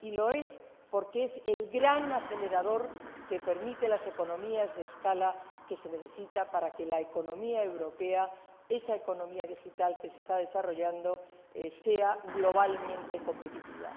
Y lo es porque es el gran acelerador que permite las economías de escala que se necesitan para que la economía europea —esa economía digital que se está desarrollando— sea globalmente competitiva.